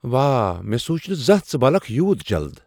واہ! مے٘ سوُچ نہٕ زانہہ ژٕ بلكھ یوُت جلد !